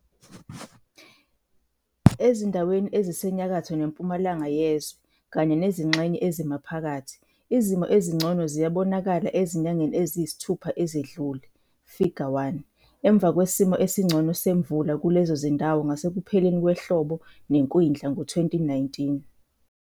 Ezindaweni ezisenyakatho nempumalanga zezwe kanye nezingxenye ezimaphakathi, izimo ezingcono ziyabonakala ezinyangeni eziyisithupha ezedlule, Ifiga 1, emva kesimo esingcono semvula kulezo zindawo ngasekupheleni kwehlobo-nekwindla ngo-2019.